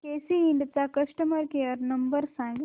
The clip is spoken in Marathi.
केसी इंड चा कस्टमर केअर नंबर सांग